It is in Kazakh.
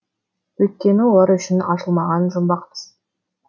өйткені олар үшін ашылмаған жұмбақпыз